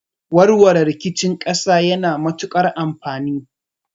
Warware rikici yana matukar amfani